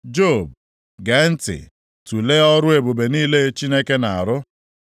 “Job, gee ntị. Tulee ọrụ ebube niile Chineke na-arụ.